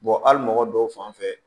hali mɔgɔ dɔw fan fɛ